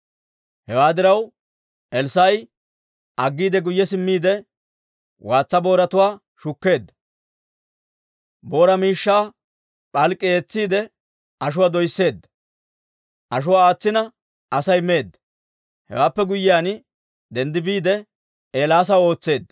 Hewaa diraw, Elssaa'i aggiide guyye simmiide waatsa booratuwaa shukkeedda; booraa miishshaa p'alk'k'i eetsiide ashuwaa doysseedda; ashuwaa aatsina Asay meedda. Hewaappe guyyiyaan denddi biide, Eelaasaw ootseedda.